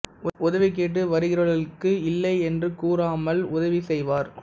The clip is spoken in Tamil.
உதவி கேட்டு வருகிறவர்களுக்கு இல்லை என்று கூறாமல் உதவி செய்வார்